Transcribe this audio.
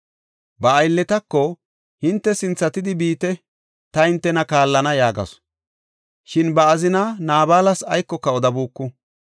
Ba aylletako, “Hinte sinthatidi biite; ta hintena kaallana” yaagasu; shin ba azinaa Naabalas aykoka odabuuku.